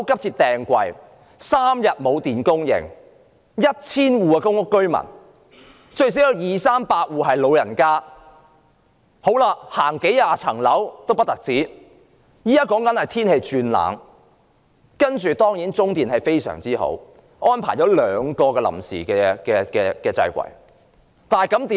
在 1,000 戶公屋居民中，最少有二三百戶是長者，他們要步行數十層樓梯回家，現時又天氣轉冷，當然，中電集團很好，安排了兩個臨時掣櫃，結果怎樣呢？